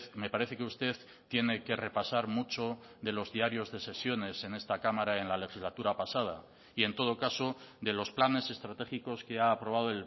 me parece que usted tiene que repasar mucho de los diarios de sesiones en esta cámara en la legislatura pasada y en todo caso de los planes estratégicos que ha aprobado